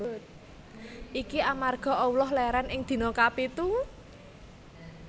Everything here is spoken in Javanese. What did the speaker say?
Iki amarga Allah lèrèn ing dina kapitu